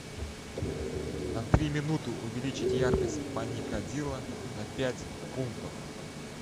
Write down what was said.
на три минуты увеличить яркость паникадила на пять пунктов